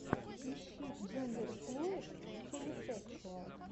ищи джендерфлуид хелисекшуал